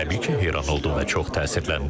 Təbii ki, heyran oldum və çox təsirləndim.